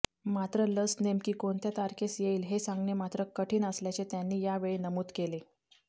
मात्र लस नेमकी कोणत्या तारखेस येईल हे सांगणे मात्र कठीण असल्याचे त्यांनी यावेळी नमूद केले